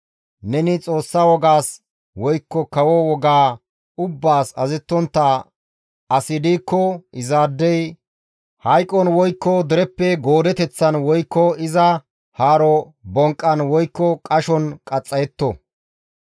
Neni Xoossa wogaas woykko kawo wogaa ubbaas azazettontta asi diikko izaadey hayqon woykko dereppe goodeteththan woykko iza haaro bonqqan woykko qashon qaxxayetto.»